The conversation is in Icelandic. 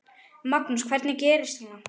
Magnús: Hvernig gerist svona?